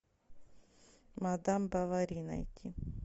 мадам бовари найти